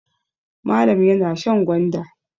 Malam yana shan gwanda.